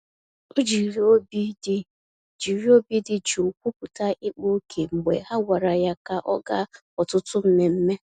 O jiri obi dị jiri obi dị jụụ kwupụta ịkpa ókè mgbe ha gwara ya ka ọ gaa ọtụtụ mmemme.